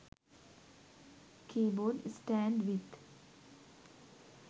keybord stand with